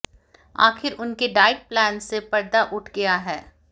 आखिर उनके diet plan से पर्दा उठ गया है